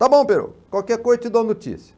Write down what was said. Tá bom, Perocco, qualquer coisa eu te dou notícia.